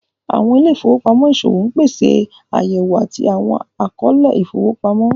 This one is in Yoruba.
Awọn ìlẹ̀-ifowopamọ iṣowo n pèsè ayẹ̀wò àti awọn akọọ̀lẹ̀ ifowopamọ.